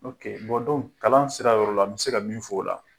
kalan sira yɔrɔ la, n mi se ka min f'o la